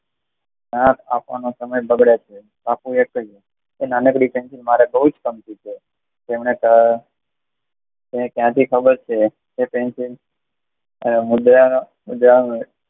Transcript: આપવાનો સમય બગડે છે બાપુએ કહીંયુ, નાનકડી પેન્સિલ તમન તો ક્યાં થી ખબર છે કે પેન્સિલ